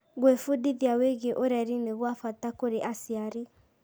Gwĩbundithia wĩgiĩ ũreri nĩ gwa bata kũrĩ aciari.